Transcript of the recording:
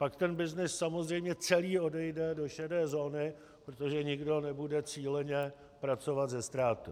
Pak ten byznys samozřejmě celý odejde do šedé zóny, protože nikdo nebude cíleně pracovat se ztrátou.